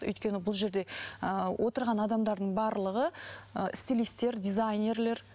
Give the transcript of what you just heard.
өйткені бұл жерде ыыы отырған адамдардың барлығы ы стилистер дизайнерлер